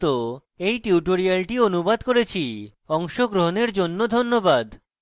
আমি কৌশিক দত্ত এই টিউটোরিয়ালটি অনুবাদ করেছি অংশগ্রহনের জন্য ধন্যবাদ